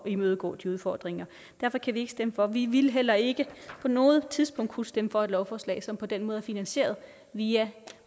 imødegå de udfordringer derfor kan vi ikke stemme for vi ville heller ikke på noget tidspunkt kunne stemme for et lovforslag som på den måde er finansieret via